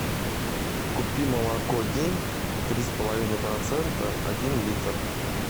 купи молоко день три с половиной процента один литр